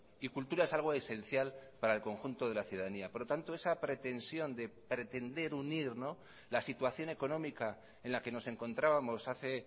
y cultura es algo esencial para el conjunto de la ciudadanía por lo tanto esa pretensión de pretender unir la situación económica en la que nos encontrábamos hace